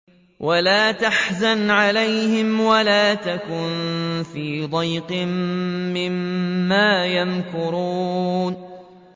وَلَا تَحْزَنْ عَلَيْهِمْ وَلَا تَكُن فِي ضَيْقٍ مِّمَّا يَمْكُرُونَ